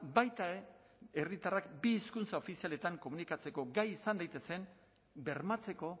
baita ere herritarrak bi hizkuntza ofizialetan komunikatzeko gai izan daitezen bermatzeko